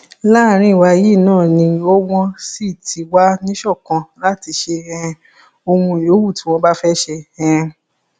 láàrín wa yìí náà ni o wọn sì ti wà níṣọkan láti ṣe um ohun yòówù tí wọn bá fẹẹ ṣe um